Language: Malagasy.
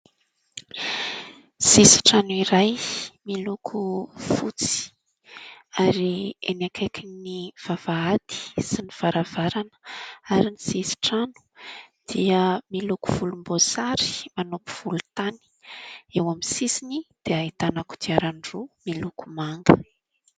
Sisin-trano iray miloko fotsy ary eny akaikin'ny vavahady sy ny varavarana ary ny sisin-trano dia miloko volom-boasary manopy volontany. Eo amin'ny sisiny dia ahitana kodiarandroa miloko manga.